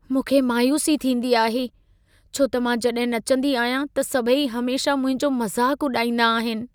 मूंखे मायूसी थींदी आहे छो त मां जॾहिं नचंदी आहियां त सभई हमेशह मुंहिंजो मज़ाक उॾाईंदा आहिन।